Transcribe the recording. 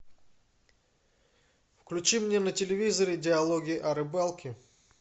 включи мне на телевизоре диалоги о рыбалке